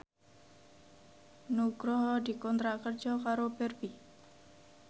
Nugroho dikontrak kerja karo Barbie